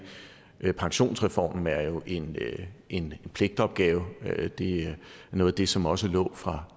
pensionsreformen er jo en en pligtopgave det er noget af det som også lå fra